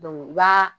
u b'a